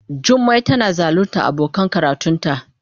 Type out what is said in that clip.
Jummai tana zaluntar abokan karatunta.